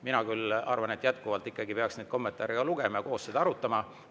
Mina küll arvan jätkuvalt, et ikkagi peaks ka kommentaare lugema ja koos arutama.